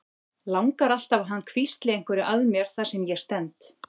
Langar alltaf að hann hvísli einhverju að mér þar sem ég stend.